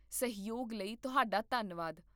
ਸਹਿਯੋਗ ਲਈ ਤੁਹਾਡਾ ਧੰਨਵਾਦ